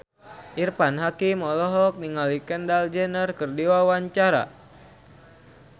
Irfan Hakim olohok ningali Kendall Jenner keur diwawancara